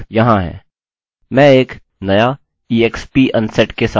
मैं एक new exp unset के साथ बनाऊँगा